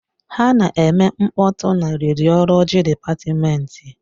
Ha na-eme mkpọtụ na rediọlọji dịpatmenti.